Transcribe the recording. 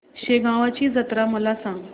शेगांवची जत्रा मला सांग